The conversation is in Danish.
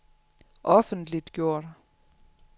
offentliggjort